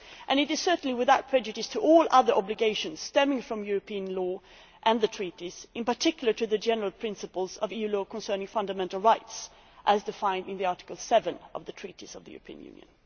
It is certainly without prejudice to all other obligations stemming from European law and the Treaties, in particular the general principles of EU law concerning fundamental rights, as defined in Article 7 of the Treaty on European Union.